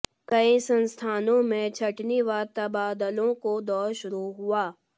कई संस्थानों में छंटनी व तबादलों को दौर शुरू हुआ